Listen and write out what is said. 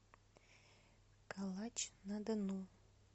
калач на дону